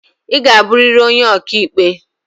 I ga abụrịrị onye okiikpe!